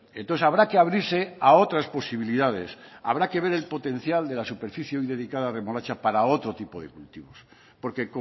entonces habrá que abrirse a otras posibilidades habrá que ver el potencial de la superficie hoy dedicada a remolacha para otro tipo de cultivos porque